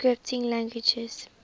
scripting languages